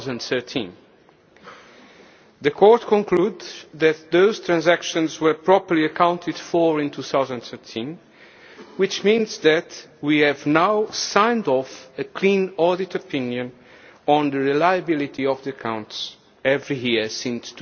2013. The Court concludes that those transactions were properly accounted for in 2013, which means that we have now signed off a clean audit opinion on the reliability of the accounts every year since